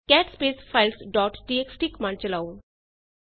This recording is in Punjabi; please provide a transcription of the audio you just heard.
cat space files dot TXT command ਚਲਾਓ